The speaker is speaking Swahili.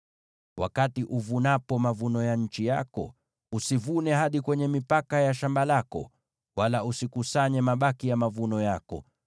“ ‘Wakati uvunapo mavuno ya nchi yako, usivune hadi kwenye mipaka ya shamba lako, wala usikusanye mabaki ya mavuno yako.